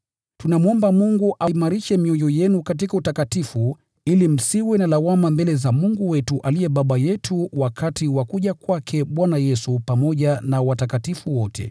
Tunamwomba Mungu aimarishe mioyo yenu ili msiwe na lawama katika utakatifu mbele za Mungu wetu aliye Baba yetu wakati wa kuja kwake Bwana Yesu pamoja na watakatifu wote.